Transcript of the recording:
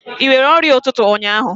Ị nwere ọrịa ụtụtụ ụnyaahụ?